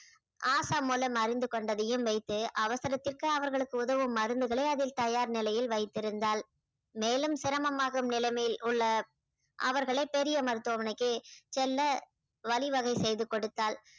ஆஷா மூலம் அறிந்து கொண்டதையும் வைத்து அவசரத்திற்கு அவர்களுக்கு உதவும் மருந்துகளை அதில் தயார் நிலையில் வைத்திருந்தாள் மேலும் சிரமமாகும் நிலைமையில் உள்ள அவர்களை பெரிய மருத்துவமனைக்கு செல்ல வழிவகை செய்து கொடுத்தால்